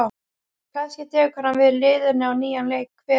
Kannski tekur hann við liðinu á nýjan leik, hver veit?